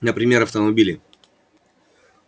например автомобили